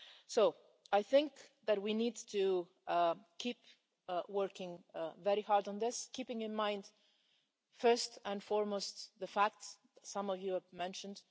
So I think that we need to keep working very hard on this, keeping in mind first and foremost the facts some of you have mentioned.